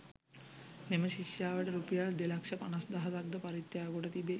මෙම ශිෂ්‍යයාට රුපියල් දෙලක්ෂ පනස්දහසක් ද පරිත්‍යාග කොට තිබේ.